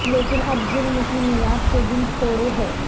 لیکن اب ظلم کی معیاد کے دن تھوڑے ہیں